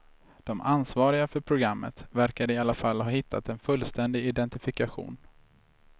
De ansvariga för programmet verkar i alla fall ha hittat en fullständig identifikation.